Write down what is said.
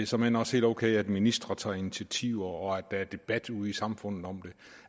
såmænd også helt okay at ministre tager initiativer og at der er debat ude i samfundet om det